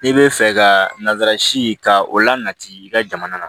N'i bɛ fɛ ka nazarasi ka o lati i ka jamana na